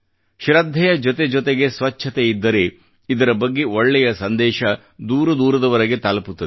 ಶ್ರದ್ಧೆಯ ಜೊತೆಜೊತೆಗೆ ಸ್ವಚ್ಚತೆ ಇದ್ದರೆ ಇದರ ಬಗ್ಗೆ ಒಳ್ಳೆಯ ಸಂದೇಶ ದೂರ ದೂರದವರೆಗೆ ತಲುಪುತ್ತದೆ